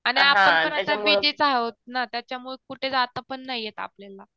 आणि आपण पण आता बीजीच आहोत ना त्याच्यामुळे कुठं जाता पण येत नाही आपल्याला